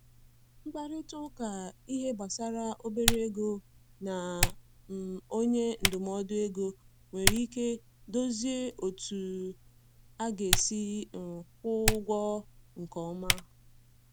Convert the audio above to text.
Nkparịta ụka ihe gbasara obere ego na um onye ndụmọdụ ego nwere ike dozie otú a ga-esi um kwụọ ụgwọ nke ọma.